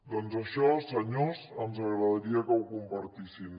doncs això senyors ens agradaria que ho compartissin